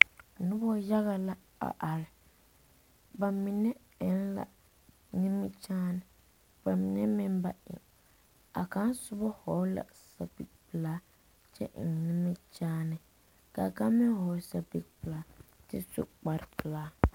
Noba yaga la a are. Ba mine eŋ la nimikyaane, ba mine meŋ ba eŋ. A kaŋ soba hɔge la sapipelaa kyɛ eŋ nimikyaane. Kaa kaŋ meŋ hɔge sapipelaa kyɛ su kpare pelaa .